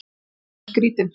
Hann var svo skrýtinn.